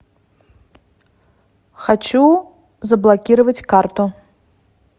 хочу заблокировать карту